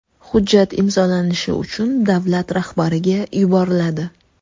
Hujjat imzolanishi uchun davlat rahbariga yuboriladi.